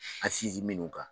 An sinzi minnuw kan.